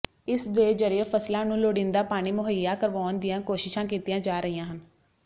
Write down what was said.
ਇਸ ਦੇ ਜ਼ਰੀਏ ਫਸਲਾਂ ਨੂੰ ਲੋੜੀਂਦਾ ਪਾਣੀ ਮੁਹੱਈਆ ਕਰਵਾਉਣ ਦੀਆਂ ਕੋਸ਼ਿਸ਼ਾਂ ਕੀਤੀਆਂ ਜਾ ਰਹੀਆਂ ਹਨ